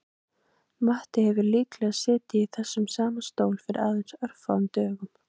Matti hefur líklega setið í þessum sama stól fyrir aðeins örfáum dögum